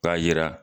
K'a yira